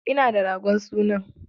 Ina da ragon sunan.